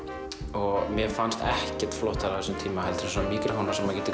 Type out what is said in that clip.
og mér fannst ekkert flottara á þessum tíma en svona míkrófónar sem maður getur